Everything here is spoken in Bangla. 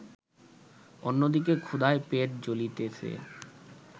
অন্যদিকে ক্ষুধায় পেট জ্বলিতেছে